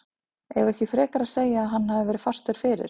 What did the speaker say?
Eigum við ekki frekar að segja að hann hafi verið fastur fyrir?